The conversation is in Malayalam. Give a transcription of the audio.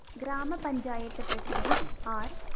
ഗ്രാമ പഞ്ചായത്ത് പ്രസിഡന്റ് ആര്‍